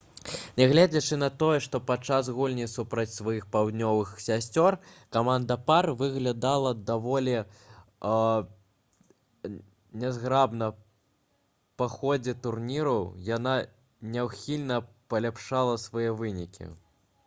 нягледзячы на тое што падчас гульні супраць сваіх паўднёвых сясцёр каманда пар выглядала даволі нязграбна па ходзе турніру яна няўхільна паляпшала свае вынікі